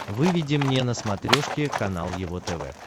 выведи мне на смотрешке канал его тв